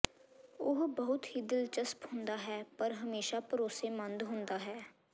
ਉਹ ਬਹੁਤ ਹੀ ਦਿਲਚਸਪ ਹੁੰਦਾ ਹੈ ਪਰ ਹਮੇਸ਼ਾ ਭਰੋਸੇਮੰਦ ਹੁੰਦਾ ਹੈ